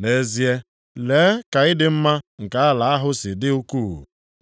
Nʼezie, lee ka ịdị mma nke ala ahụ si dị ukwuu!